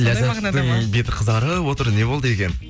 ләззаттың беті қызарып отыр не болды екен